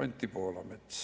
Anti Poolamets.